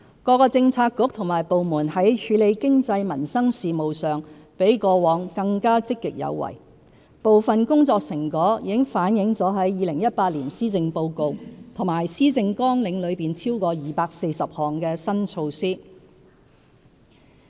各政策局和部門在處理經濟民生事務上比過往更積極有為，部分工作成果已反映在2018年施政報告及施政綱領內超過240項的新措施。